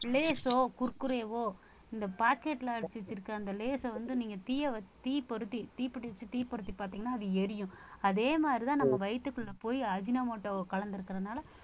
லேஸோ, குர்குரேவோ இந்த packet ல அடைச்சு வச்சிருக்கிற அந்த லேஸை வந்து நீங்க தீயை வச்~ தீ பொருத்தி தீப்பெட்டி வச்சு தீ பொருத்தி பார்த்தீங்கன்னா அது எரியும் அதே மாதிரிதான் நம்ம வயித்துக்குள்ள போயி அஜினோமோட்டோவ கலந்திருக்கிறதுனால